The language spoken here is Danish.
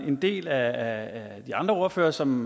en del af de andre ordførere som